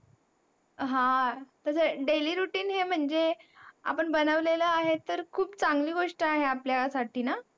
हा, तसं daily routine हे म्हणजे आपण बनवलेला आहे तर खूप चांगली गोष्ट आहे आपल्यासाठी ना?